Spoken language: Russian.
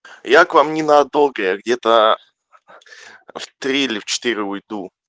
я к вам ненадолго я где-то в три или в четыре уйду